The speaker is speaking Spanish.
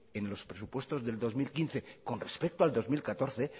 en los presupuestos del dos mil quince con respecto al dos mil catorce